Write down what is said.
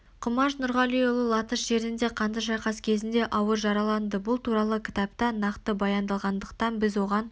құмаш нұрғалиұлы латыш жеріндегі қанды шайқас кезінде ауыр жараланды бұл туралы кітапта нақты баяндалғандықтан біз оған